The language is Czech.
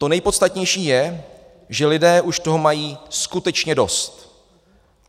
To nejpodstatnější je, že lidé už toho mají skutečně dost.